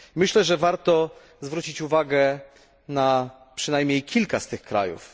Myślę, że warto zwrócić uwagę na przynajmniej kilka z tych krajów.